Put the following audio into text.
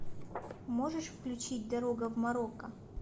можешь включить дорога в марокко